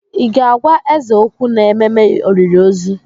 Ị ga-agwa eze okwu n'ememe olili ozu?